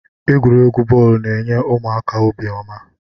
Egwuregwu bọọlu n'enye ụmụaka obiọma.